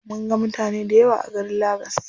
Mun ga mutane dayawa a garin lagas.